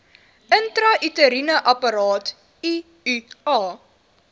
intrauteriene apparaat iua